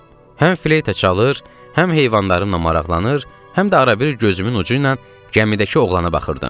Həm fleyta çalır, həm heyvanlarımla maraqlanır, həm də arabir gözümün ucu ilə gəmidəki oğlana baxırdım.